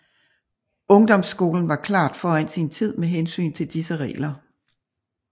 Ungdomsskolen var klart foran sin tid med hensyn til disse regler